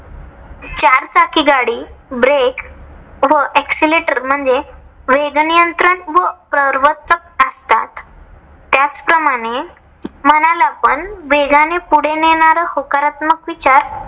चारचाकी गाडीत break व accelerator म्हणजे वेग नियंत्रण व प्रर्वर्तक असतात. त्याचप्रमाणे मनाला पण वेगाने पुढे नेणार होकारात्मक विचार